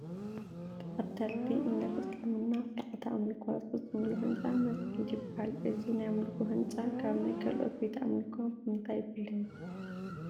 ተኸተልቲ እምነት ምስልምና ስርዓተ ኣምልኮ ዝፍፅሙሉ ህንፃ መሲጊድ ይበሃል፡፡ እዚ ናይ ኣምልኮ ህንፃ ካብ ናይ ካልኦት ቤተ ኣምልኮ ብምንታይ ይፍለ?